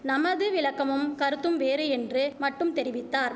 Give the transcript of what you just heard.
நமது விளக்கமும் கருத்தும் வேறு என்று மட்டும் தெரிவித்தார்